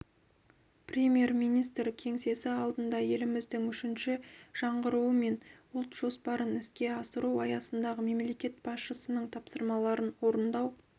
премьер-министр кеңсесі алдына еліміздің үшінші жаңғыруы мен ұлт жоспарын іске асыру аясындағы мемлекет басшысының тапсырмаларын орындау